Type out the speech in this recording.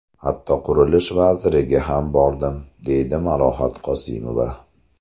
Hatto Qurilish vaziriga ham bordim, deydi Malohat Qosimova.